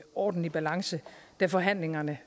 ordentlig balance da forhandlingerne